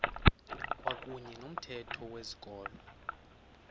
kwakuyne nomthetho wezikolo